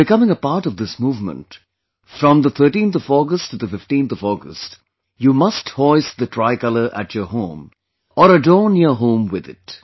By becoming a part of this movement, from August 13 to 15, you must hoist the tricolor at your home, or adorn your home with it